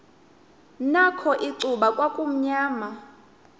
nakho icuba kwakumnyama